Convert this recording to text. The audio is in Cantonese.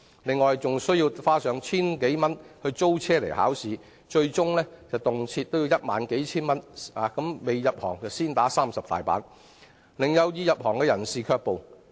此外，他們須負擔千多元的考試租車費，最終動輒合計花上數千至1萬元，相當於"未入行先打30板"，令有意入行者卻步。